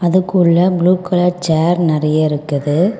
அதுக்குள்ள blue colour chair நெறைய இருக்குது.